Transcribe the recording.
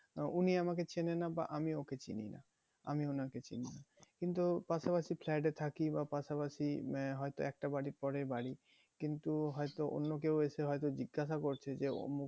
উনি আমাকে চেনে না বা আমি ওকে চিনি না, আমি ওনাকে চিনি না কিন্তু পাশাপাশি flat এ থাকি বা হয়তো পাশাপাশি মানে হয়তো একটা বাড়ির পরেই বাড়ি কিন্তু হয়তো অন্য কেউ এসে হয়তো জিজ্ঞাসা করছে যে উমুক